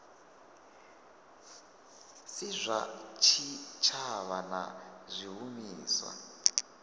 si zwa tshitshavha na zwishumiswa